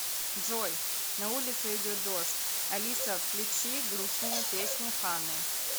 джой на улице идет дождь алиса включи грустные песни ханы